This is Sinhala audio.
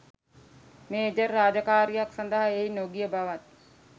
මේජර් රාජකාරියක් සඳහා එහි නොගිය බවත්